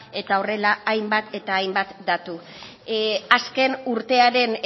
eta horrela hainbat eta hainbat datu azken urtearen